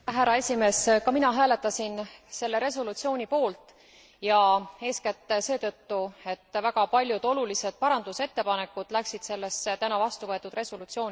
Ka mina hääletasin selle resolutsiooni poolt, ja eeskätt seetõttu, et väga paljud olulised muudatusettepanekud läksid sellesse täna vastuvõetud resolutsiooni sisse.